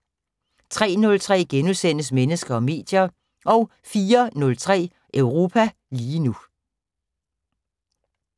03:03: Mennesker og medier * 04:03: Europa lige nu